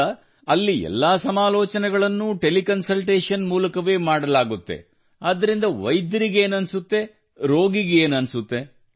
ಈಗ ಅಲ್ಲಿ ಎಲ್ಲಾ ಸಮಾಲೋಚನೆಗಳನ್ನು ಟೆಲಿಕಾಂ ಮೂಲಕವೇ ಮಾಡಲಾಗುತ್ತದೆ ಆದ್ದರಿಂದ ವೈದ್ಯರಿಗೆ ಏನು ಅನಿಸುತ್ತದೆ ರೋಗಿಗೆ ಏನು ಅನಿಸುತ್ತದೆ